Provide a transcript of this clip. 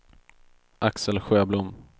Axel Sjöblom